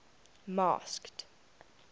masked